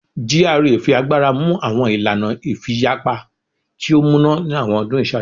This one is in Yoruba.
GRA fi agbara mu awọn ilana ifiyapa ti o muna ni awọn ọdun iṣaaju